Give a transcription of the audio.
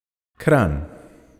Kranj.